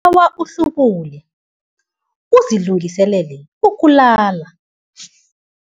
Ngibawa uhlubule uzilungiselele ukulala.